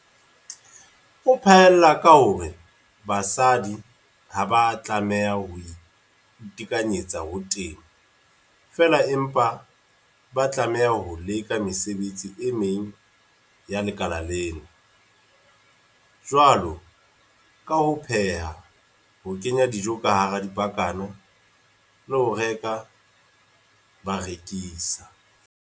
O phaella ka hore basadi ha ba a tlameha ho itekanyetsa ho temo fela empa ba tlameha ho leka le mesebetsi e meng ya lekala lena, jwalo ka ho pheha, ho kenya dijo ka hara dipakana le ho reka ba rekisa."